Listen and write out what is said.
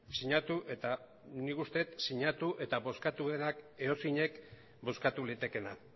eta bozkatu edozeinek bozkatu litekeena